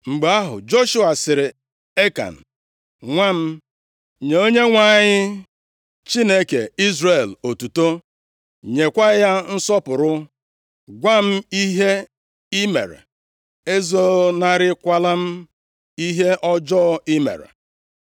Mgbe ahụ, Joshua sịrị Ekan, “Nwa m, nye Onyenwe anyị, Chineke Izrel otuto, nyekwa ya nsọpụrụ. Gwa m ihe i mere. Ezonarịkwala m ihe ọjọọ i mere.”